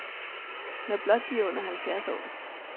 Når blot de er under halvfjerds år.